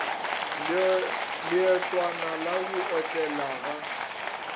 leotwana la go otlela ga